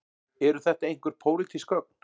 Eru þetta einhver pólitísk gögn